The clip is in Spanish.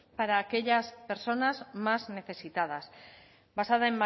para aquellas personas más necesitadas basada